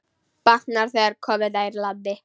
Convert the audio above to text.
Batnar, þegar komum nær landi.